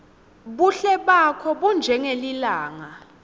buhle bakho bunjengelilanga